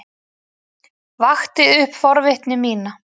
Vakti upp forvitni mína.